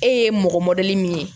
E ye mɔgɔ min ye